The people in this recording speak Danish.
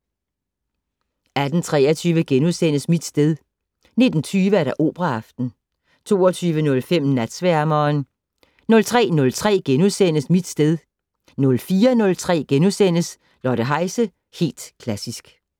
18:23: Mit sted * 19:20: Operaaften 22:05: Natsværmeren 03:03: Mit sted * 04:03: Lotte Heise - Helt Klassisk *